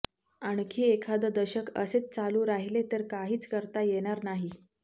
आणखी एखादं दशक असेच चालू राहिले तर काहीच करता येणार नाही